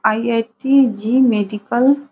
IIT. JEE medical --